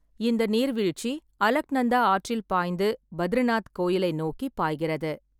இந்த நீர்வீழ்ச்சி அலக்நந்தா ஆற்றில் பாய்ந்து, பத்ரிநாத் கோயிலை நோக்கி பாய்கிறது.